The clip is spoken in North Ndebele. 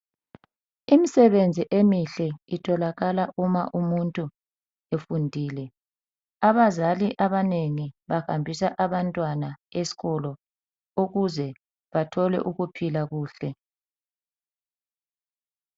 Imisebenzi emihle itholakala uma umuntu efundile. Abazali abanengi bahambisa abantwana esikolo ukuze bathole ukuphila kuhle.